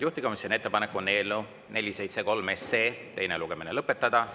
Juhtivkomisjoni ettepanek on eelnõu 473 teine lugemine lõpetada.